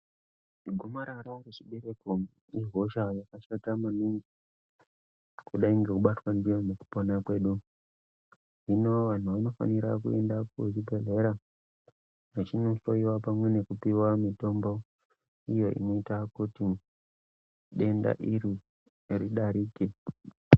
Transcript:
Gomarara rechibereko ihosha yakashata maningi kudai ngekubatwa ndiyo mukupona kwedu hino anhu anofana kuenda kuzvibhedhlera vachinohloiwa pamwe nokupuwa mutombo inoita kuti denda iri ridarike.